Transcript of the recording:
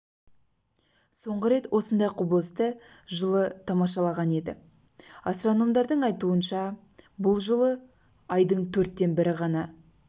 соңғы рет осындай құбылысты жылы тамашалаған еді астрономдардың айтуынша бұл жолы айдың төрттен бірі ғана